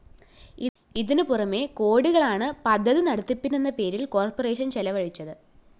ഇതിന് പുറമെ കോടികളാണ് പദ്ധതി നടത്തിപ്പിനെന്ന പേരില്‍ കോർപ്പറേഷൻ ചെലവഴിച്ചത്